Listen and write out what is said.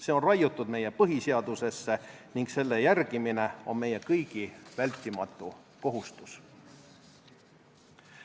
See on raiutud meie põhiseadusesse ning selle järgimine on meie kõigi vältimatu kohustus.